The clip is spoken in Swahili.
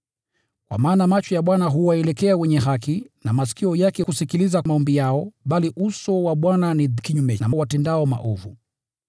Kwa maana macho ya Bwana huwaelekea wenye haki, na masikio yake yako makini kusikiliza maombi yao. Bali uso wa Bwana uko kinyume na watendao maovu.”